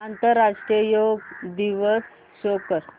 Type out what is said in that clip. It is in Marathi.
आंतरराष्ट्रीय योग दिवस शो कर